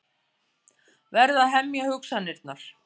Verð að hemja hugsanirnar.